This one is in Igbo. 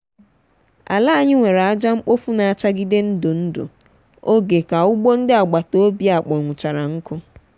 ala anyi were aja mkpofu n'achagide ndu ndu oge ka ugbo ndị agbata obi akpọnwụchara nku.